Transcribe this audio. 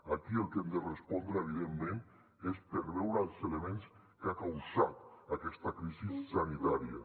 aquí el que hem de respondre evidentment és per veure els elements que han causat aquesta crisi sanitària